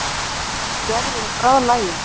Gerður er bráðlagin.